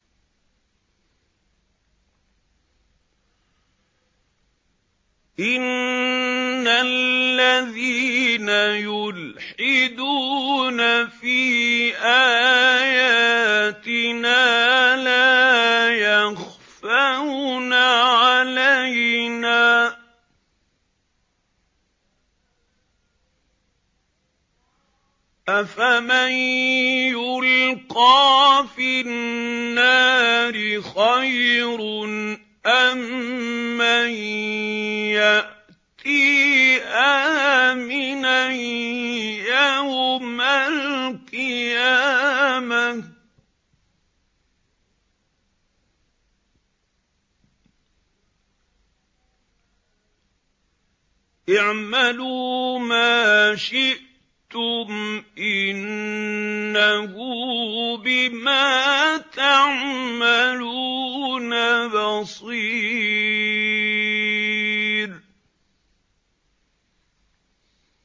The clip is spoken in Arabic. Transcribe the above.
إِنَّ الَّذِينَ يُلْحِدُونَ فِي آيَاتِنَا لَا يَخْفَوْنَ عَلَيْنَا ۗ أَفَمَن يُلْقَىٰ فِي النَّارِ خَيْرٌ أَم مَّن يَأْتِي آمِنًا يَوْمَ الْقِيَامَةِ ۚ اعْمَلُوا مَا شِئْتُمْ ۖ إِنَّهُ بِمَا تَعْمَلُونَ بَصِيرٌ